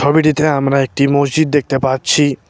ছবিটিতে আমরা একটি মসজিদ দেখতে পাচ্ছি।